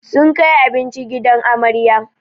Sun kai abinci gidan amarya